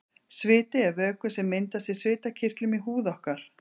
Sviti er vökvi sem myndast í svitakirtlum í húð okkar.